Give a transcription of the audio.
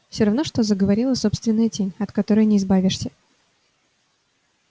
все равно что заговорила собственная тень от которой не избавишься